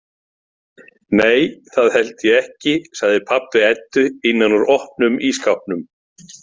Nei, það held ég ekki, sagði pabbi Eddu innan úr opnum ísskápnum.